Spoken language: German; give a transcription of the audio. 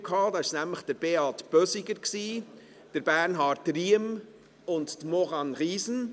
Da waren es nämlich Beat Bösiger, Bernhard Riem und Maurane Riesen.